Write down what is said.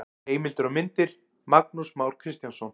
Heimildir og myndir: Magnús Már Kristjánsson.